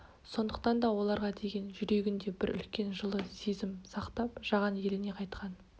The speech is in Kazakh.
сондықтан да оларға деген жүрегінде бір үлкен жылы сезім сақтап жаған еліне қайтқан